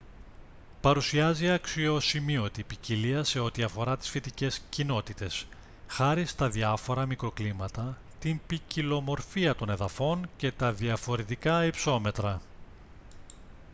παρουσιάζει αξιοσημείωτη ποικιλία σε ό,τι αφορά τις φυτικές κοινότητες χάρη στα διαφορα μικροκλίματα την ποικιλομορφία των εδαφών και τα διαφορετικά υψόμετρα